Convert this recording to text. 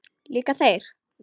Líka þeir?